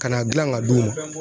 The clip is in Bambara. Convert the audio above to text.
Ka n'a gilan ka d'u ma.